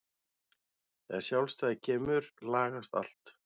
Þegar sjálfstæðið kemur lagast allt.